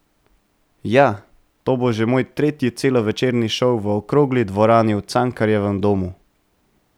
Ja, to bo že moj tretji celovečerni šov v okrogli dvorani v Cankarjevem domu.